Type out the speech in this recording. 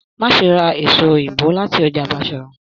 Má ṣe ra èso òyìnbó láti ọjà Bashorun!